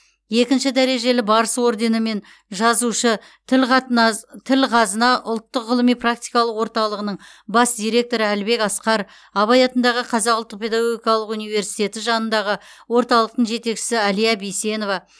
екінші дәрежелі барыс орденімен жазушы тіл қазына ұлттық ғылыми практикалық орталығының бас директоры әлібек асқар абай атындағы қазақ ұлттық педагогикалық университеті жанындағы орталықтың жетекшісі әлия бейсенова